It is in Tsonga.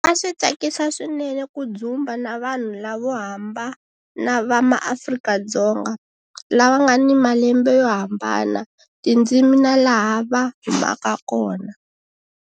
A swi tsakisa swinene ku dzumba na vanhu lavo hambana va maAfrika-Dzonga, lava nga ni malembe yo hambana, tindzimi na laha va humaka kona.